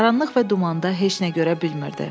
Qaranlıq və dumanda heç nə görə bilmirdi.